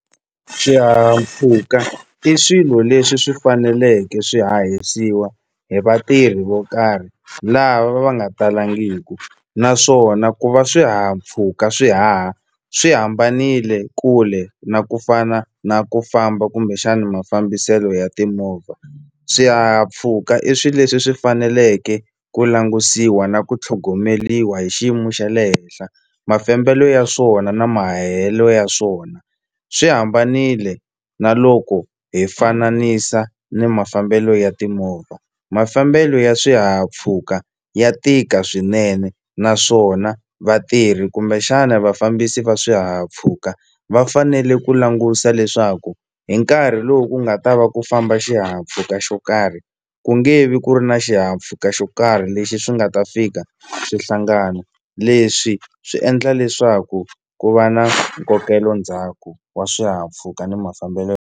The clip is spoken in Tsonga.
Xihahampfhuka i swilo leswi swi faneleke swi hahisiwa hi vatirhi vo karhi lava va nga talangiku naswona ku va swihahampfhuka swi haha swi hambanile kule na ku fana na ku famba kumbexani mafambiselo ya timovha swihahampfhuka i swi leswi swi faneleke ku langusiwa na ku tlhogomeliwa hi xiyimo xa le henhla mafambelo ya swona na mahahelo ya swona swi hambanile na loko hi fananisi ni mafambelo ya timovha mafambelo ya swihahampfhuka ya tika swinene naswona vatirhi kumbexana vafambisi va swihahampfhuka va fanele ku langusa leswaku hi nkarhi lowu ku nga ta va ku famba xihahampfhuka xo karhi ku nge vi ku ri na xihahampfhuka xo karhi lexi swi nga ta fika swi hlangana leswi swi endla leswaku ku va na nkokelo ndzhaku wa swihahampfhuka ni mafambelo.